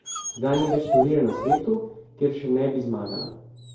Zdaj ni več turnirja na svetu, kjer še ne bi zmagala.